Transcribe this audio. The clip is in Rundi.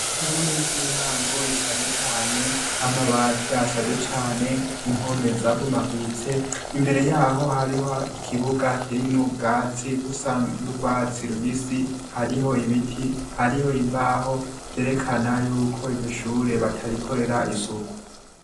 Ishure ry'intango rishaje cane, amabati ashaje cane, impome zabomaguritse, imbere yaho harimwo ikibuga kirimwo ubwatsi busa n'urwatsi rubisi, hariho ibiti, hariho imbaho, vyerekana yuko iryo shure batarikorera isuku.